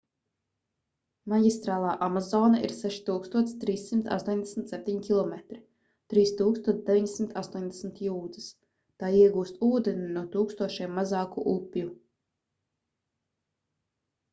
maģistrālā amazone ir 6387 km 3980 jūdzes. tā iegūst ūdeni no tūkstošiem mazāku upju